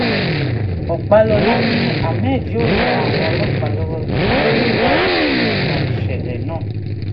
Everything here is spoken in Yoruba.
ọpàlọ́la ni ahmed yóò ran àwọn ọlọ́pàá lọ́wọ́ lórí ìwádìí wọn nípa ìṣẹ̀lẹ̀ náà